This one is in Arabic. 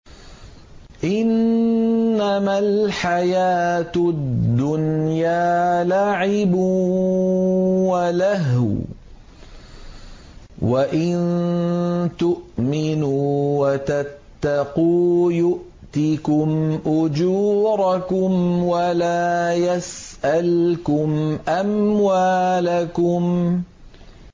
إِنَّمَا الْحَيَاةُ الدُّنْيَا لَعِبٌ وَلَهْوٌ ۚ وَإِن تُؤْمِنُوا وَتَتَّقُوا يُؤْتِكُمْ أُجُورَكُمْ وَلَا يَسْأَلْكُمْ أَمْوَالَكُمْ